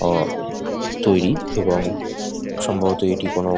ও তৈরি এবং সম্ভবত এটি কোনো --